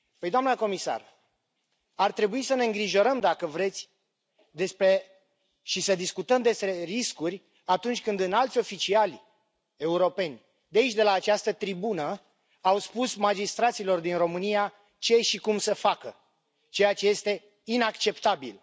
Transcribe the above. Păi, doamnă comisar, ar trebui să ne îngrijorăm, dacă vreți, și să discutăm despre riscuri atunci când înalți oficiali europeni de aici, de la această tribună, au spus magistraților din România ce și cum să facă, ceea ce este inacceptabil.